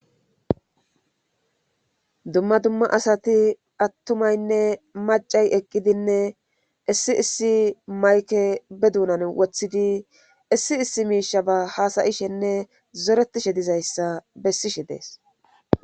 dumma dumma asati attumaynne macay eqqidinne issi issi mayke be duunan wothidi issi issi miisha ba haasayishenne zoretishe dizayssa bessishe dees